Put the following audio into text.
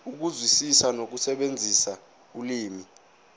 ukuzwisisa nokusebenzisa ulimi